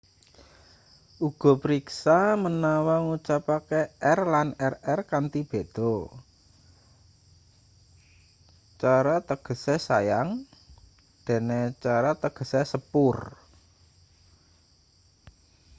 uga priksa manawa ngucapake r lan rr kanthi beda caro tegese sayang dene carro tegese sepur